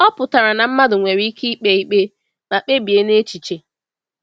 Ọ pụtara na mmadụ nwere ike ikpe ikpe ma kpebie n’echiche.